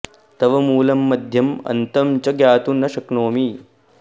तव मूलं मध्यम् अन्तं च ज्ञातुं न शक्नोमि